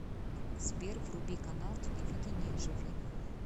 сбер вруби канал телевидения живи